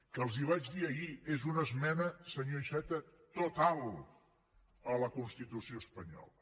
que els ho vaig dir ahir és una esmena senyor iceta total a la constitució espanyola